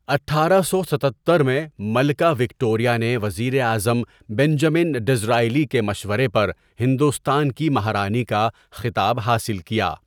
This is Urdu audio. اٹھارہ سو ستتر میں ملکہ وکٹوریہ نے وزیر اعظم بنجمن ڈزرائیلی کے مشورے پر ہندوستان کی مہارانی کا خطاب حاصل کیا۔